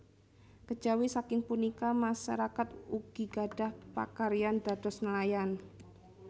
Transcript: Kejawi saking punika masarakat ugi gadhah pakaryan dados nelayan